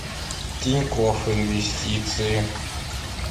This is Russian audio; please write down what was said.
тинькофф инвестиции